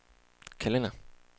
kalender